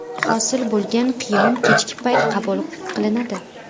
Hosil bo‘lgan qiyom kechki payt qabul qilinadi.